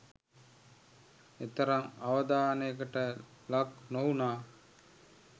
එතරම් අවධානයට ලක් නොවුනා